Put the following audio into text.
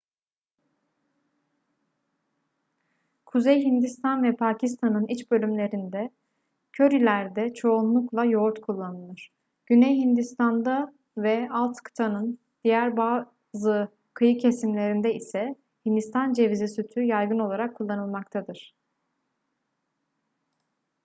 kuzey hindistan ve pakistan'ın iç bölümlerinde körilerde çoğunlukla yoğurt kullanılır güney hindistan'da ve alt kıtanın diğer bazı kıyı kesimlerinde ise hindistan cevizi sütü yaygın olarak kullanılmaktadır